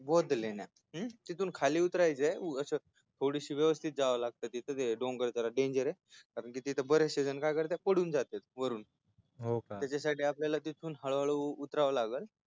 बौद्ध लेण्या तिथून खाली उतराय चय अस थोडीस व्यवस्थित जाव लागत तिथून डोंगर जरा डेंजरय कारण तिथे बरेचजशे काय करतात पुढून जातात वरुन त्याच्या साठी तिथून आपल्याला हळू हळू उतराव लागेल